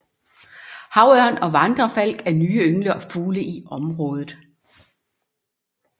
Havørn og vandrefalk er nye ynglefugle i området